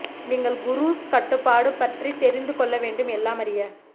நீங்கள் குரூஸ் கட்டுப்பாடு பற்றி தெரிந்து கொள்ள வேண்டும் எல்லாம் அறிய